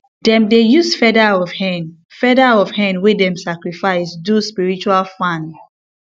dem dey use feather of hen feather of hen wey dem sacrifice do spiritual fan